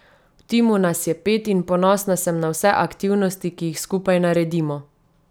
V timu nas je pet in ponosna sem na vse aktivnosti, ki jih skupaj naredimo.